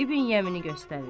İbn Yəmini göstərir.